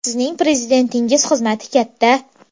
Sizning prezidentingiz xizmati katta.